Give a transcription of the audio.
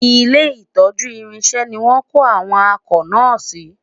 ilé itọju irinṣẹ ní wón kò àwọn akọ na si